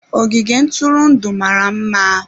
Ogige ntụrụndụ mara mma.